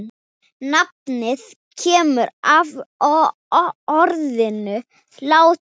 Nafnið kemur af orðinu látur.